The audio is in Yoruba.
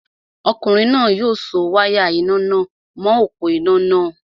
Ọkùnrin náà yóò so wáyà iná nà mọ̀ọ́ òpó-iná náà